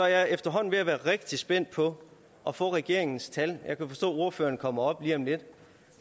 jeg efterhånden ved at være rigtig spændt på at få regeringens tal jeg kan forstå at ordføreren kommer op lige om lidt